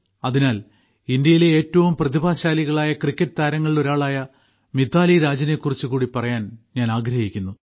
അതിനാൽ ഇന്ത്യയിലെ ഏറ്റവും പ്രതിഭാശാലികളായ ക്രിക്കറ്റ് താരങ്ങളിലൊരാളായ മിതാലിരാജിനെ കുറിച്ച് കൂടി പറയാൻ ഞാൻ ആഗ്രഹിക്കുന്നു